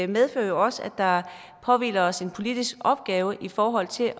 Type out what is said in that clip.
medfører også at der påhviler os en politisk opgave i forhold til